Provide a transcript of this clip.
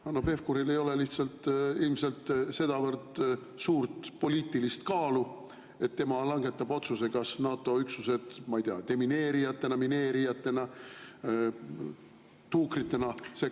Hanno Pevkuril ei ole lihtsalt ilmselt sedavõrd suurt poliitilist kaalu, et tema langetab otsuse, kas NATO üksused demineerijatena, mineerijatena, tuukritena sekkuvad või mitte.